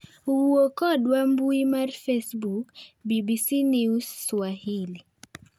Wuo kodwa mbui mar Facebook, BBCNewsSwahili.